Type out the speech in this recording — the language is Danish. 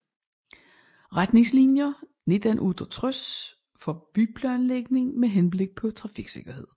Retningslinier 1968 for byplanlægning med henblik på trafiksikkerhed